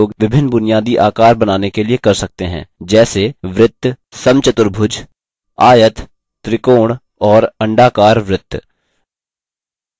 आप इसका उपयोग विभिन्न बुनियादी आकार बनाने के लिए कर सकते हैं जैसे वृत्त समचतुर्भुज squares आयत त्रिकोण और अंडाकार वृत्त